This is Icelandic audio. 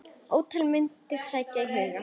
Ótal myndir sækja á hugann.